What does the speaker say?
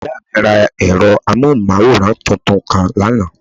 Ìyá mí ra ẹ̀rọ amóhùnmáwòrán tuntun kan lánàá